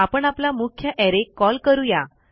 आपण आपला मुख्य अरे कॉल करू या